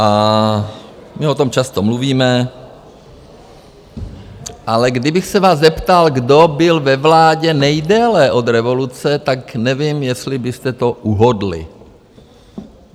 A my o tom často mluvíme, ale kdybych se vás zeptal, kdo byl ve vládě nejdéle od revoluce, tak nevím, jestli byste to uhodli.